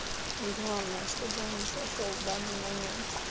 ну главное чтобы он не сошёл в данный момент